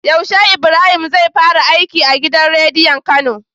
Yaushe Ibrahim zai fara aiki a gidan rediyon kano?